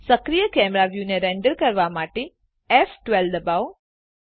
સક્રીય કેમેરા વ્યુને રેન્ડર કરવાં માટે ફ12 દબાવો